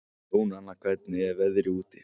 Jónanna, hvernig er veðrið úti?